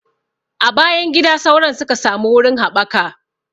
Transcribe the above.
A bayan gida sauron suka samu wurin haɓaka